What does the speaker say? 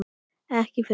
Ekkert fyrir börn.